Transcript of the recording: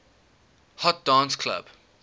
hot dance club